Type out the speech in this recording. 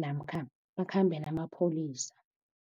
namkha bakhambe namapholisa.